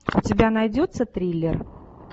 у тебя найдется триллер